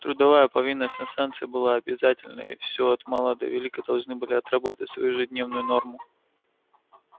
трудовая повинность на станции была обязательной и всё от мала до велика должны были отработать свою ежедневную норму